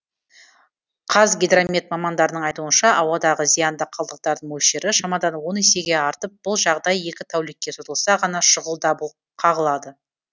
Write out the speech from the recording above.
қазгидромет мамандарының айтуынша ауадағы зиянды қалдықтардың мөлшері шамадан он есеге артып бұл жағдай екі тәулікке созылса ғана шұғыл даб қағылады